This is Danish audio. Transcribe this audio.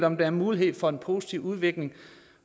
om der mulighed for en positiv udvikling